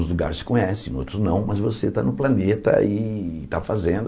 Uns lugares se conhecem, outros não, mas você está no planeta e está fazendo.